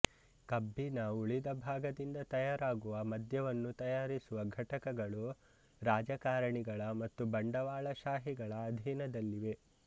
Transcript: ಕಬ್ಬಿನ ಉಳಿದ ಭಾಗದಿಂದ ತಯಾರಾಗುವ ಮದ್ಯವನ್ನು ತಯಾರಿಸುವ ಘಟಕಗಳೂ ರಾಜಕಾರಣಿಗಳ ಮತ್ತು ಬಂಡವಾಳಶಾಹಿಗಳ ಅಧೀನದಲ್ಲಿವೆ